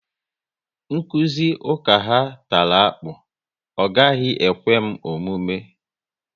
Nkụzi ụka ha tara akpụ, ọ gaghị ekwe m omume